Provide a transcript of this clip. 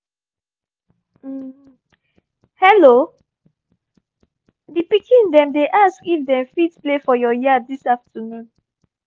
hello! the pikin dem dey ask if dem fit play for your yard this afternoon